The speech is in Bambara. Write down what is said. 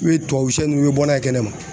I bɛ tubabusɛ ninnu i bɛ bɔ n'a ye kɛnɛma